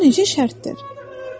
Bu necə şərtdir?